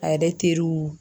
Ale teriw